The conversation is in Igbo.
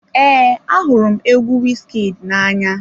Ee, ahụrụ m egwu Wizkid na-anya.